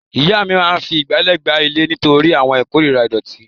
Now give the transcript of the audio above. Ìyá mi máa fi ìgbálẹ̀ gbá ilẹ̀ nítorí wọ́n korira ìdọ̀tí.